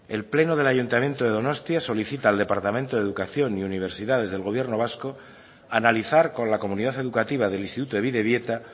el pleno del ayuntamiento de donostia solicita al departamento de educación y universidades del gobierno vasco analizar con la comunidad educativa del instituto de bidebieta